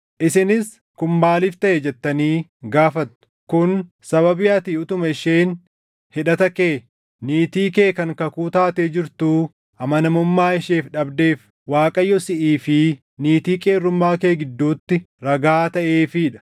Isinis, “Kun maaliif taʼe?” jettanii gaafattu. Kun sababii ati utuma isheen hidhata kee, niitii kee kan kakuu taatee jirtuu amanamummaa isheef dhabdeef Waaqayyo siʼii fi niitii qeerrummaa kee gidduutti ragaa taʼeefii dha.